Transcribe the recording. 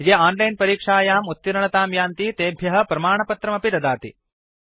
ये ओनलाइन् परीक्षायाम् उत्तीर्णतां यान्ति तेभ्य प्रमाणपत्रमपि ददाति